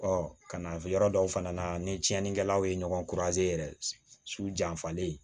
ka na yɔrɔ dɔw fana na ni tiɲɛnikɛlaw ye ɲɔgɔn yɛrɛ su janfalen